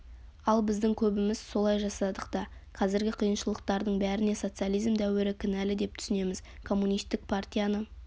ал біздің көбіміз солай жасадық та қазіргі қиыншылықтардың бәріне социализм дәуірі кінәлі деп түсінеміз коммунистік партияны